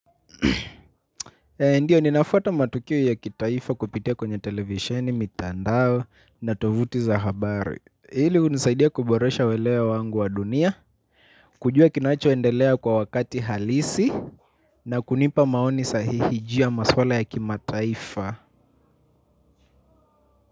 Eh ndio ninafuata matukio ya kitaifa kupitia kwenye televisheni mitandao na tovuti za habari. Hili hunisaidia kuboresha uelewa wangu wa dunia. Kujua kinachoendelea kwa wakati halisi na kunipa maoni sahihi juu masuala ya kimataifa.